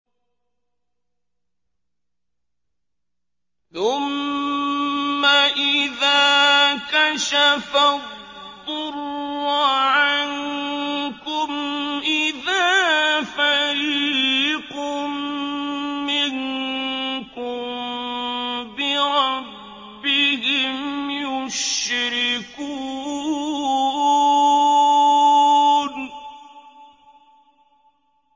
ثُمَّ إِذَا كَشَفَ الضُّرَّ عَنكُمْ إِذَا فَرِيقٌ مِّنكُم بِرَبِّهِمْ يُشْرِكُونَ